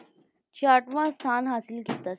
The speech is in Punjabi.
ਛਿਆਹਠਵਾਂ ਸਥਾਨ ਹਾਸਲ ਕੀਤਾ ਸੀ ਤੇ